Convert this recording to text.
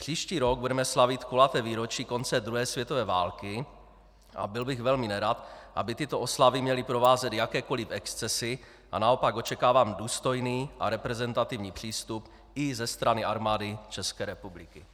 Příští rok budeme slavit kulaté výročí konce druhé světové války a byl bych velmi nerad, aby tyto oslavy měly provázet jakékoli excesy, a naopak očekávám důstojný a reprezentativní přístup i ze strany Armády České republiky.